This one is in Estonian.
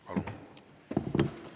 Palun!